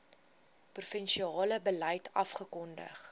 provinsiale beleid afgekondig